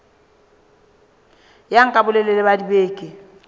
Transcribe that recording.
ya nka bolelele ba dibeke